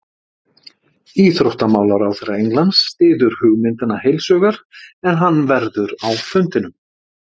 Íþróttamálaráðherra Englands styður hugmyndina heilshugar en hann verður á fundinum.